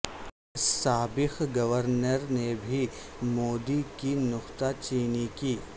سابق گورنر نے بھی مودی کی نکتہ چینی کی